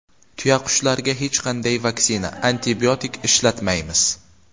Tuyaqushlarga hech qanday vaksina, antibiotik ishlatmaymiz.